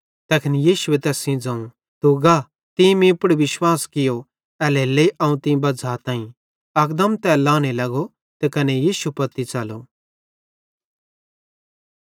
तैखन यीशुए तैस सेइं ज़ोवं तू गा तीं मीं पुड़ विश्वास कियूं एल्हेरेलेइ अवं तीं बज़्झ़ाताईं अकदम तै लाने लगो त कने यीशु पत्ती च़लो